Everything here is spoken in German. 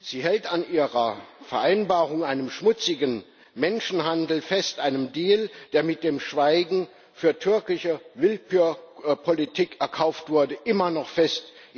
Sie hält an ihrer Vereinbarung, einem schmutzigen Menschenhandel, einem Deal, der mit dem Schweigen für türkische Willkürpolitik erkauft wurde, immer noch fest.